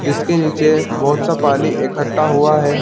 जिसके नीचे बहोत सा पानी इक्क्ठा हुआ है।